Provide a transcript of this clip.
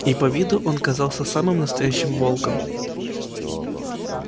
и по виду он казался самым настоящим волком